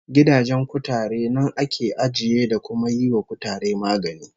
Gidajen kutare nan ake ajiye, da kuma yiwa kutare magani